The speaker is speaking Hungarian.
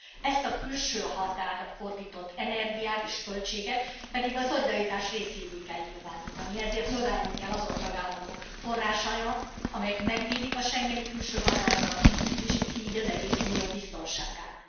Ezt a külső határra fordított energiát és költséget pedig a szolidaritás részévé kell nyilvánítani, ezért növelni kell azon tagállamok forrásait, amelyek megvédik a schengeni külső határokat, és így az egész Unió biztonságát.